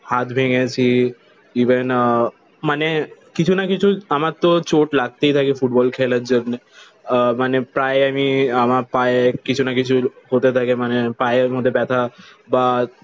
হাত ভেঙেছি ইভেন আহ মানে কিছু না কিছু আমার তো চোট লাগতেই থাকে ফুটবল খেলার জন্যে। আহ মানে প্রায় আমি আমার পায়ে কিছু না কিছু হতে থাকে। মানে পায়ের মধ্যে ব্যথা বা